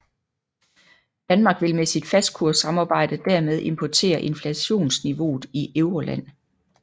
Danmark vil med sit fastkurssamarbejde dermed importere inflationsniveauet i Euroland